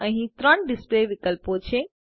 અહી ત્રણ ડીસ્લ્પે વિકલ્પો છે